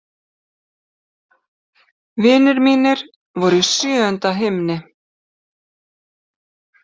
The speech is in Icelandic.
Vinir mínir voru í sjöunda himni.